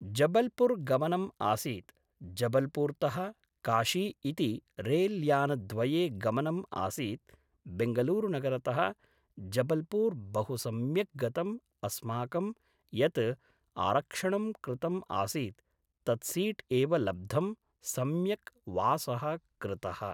जबलपूर् गमनम् आसीत् जबलपूर्तः काशी इति रैल्यानद्वये गमनम् आसीत् बेङ्गलुरुनगरतः जबलपूर् बहु सम्यक् गतम् अस्माकं यत् आरक्षणं कृतम् आसीत् तत् सीट् एव लब्धम् सम्यक् वासः कृतः